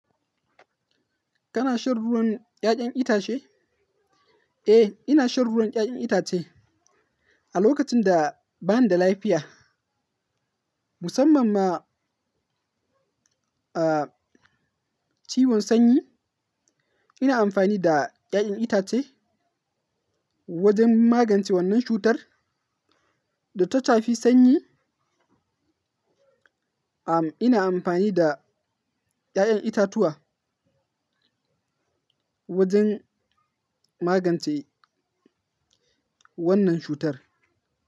Kana shan ruwan ya'yan itace? Eh, ina shan ruwan ya'yan itace. A lokacin da bani da lafiya, musamman ma,, ciwon sanyi, ina amfani da ya'yan itace wajen magance wannan cutar da ta tafi sanyi. Am, ina amfani da ya'yan itatuwa wajen magance wannan cutar.